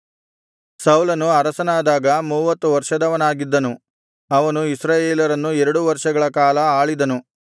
ಸೌಲನು ಅರಸನಾದಾಗ ಮೂವತ್ತು ವರ್ಷದವನಾಗಿದ್ದನು ಅವನು ಇಸ್ರಾಯೇಲರನ್ನು ಎರಡು ವರ್ಷಗಳ ಕಾಲ ಆಳಿದನು